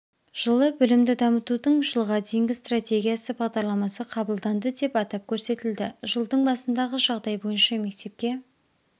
жылы білімді дамытудың жылға дейінгі стратегиясы бағдарламасы қабылданды деп атап көрсетілді жылдың басындағы жағдай бойынша мектепке